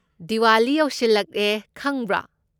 ꯗꯤꯋꯥꯂꯤ ꯌꯧꯁꯤꯜꯂꯛꯑꯦ ꯈꯪꯕ꯭ꯔꯣ?